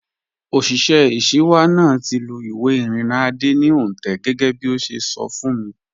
Òṣìṣẹ́ ìṣíwá náà ti lù ìwé ìrìnnà Adé ní òǹtẹ̀ gẹ́gẹ́bí ó ṣe sọ fún mi